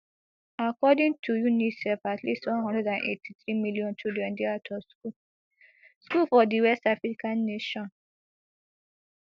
according to unicef at least one hundred and eighty-three million children dey out of school school for di west african nation